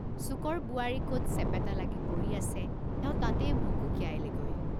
চুকৰ বোৱাৰী কত চেপেটা লাগি পৰি আছে, এওঁ তাতে ভুকুকিয়ালেগৈ।